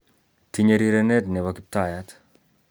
Tinye rirenet nebo kiptayat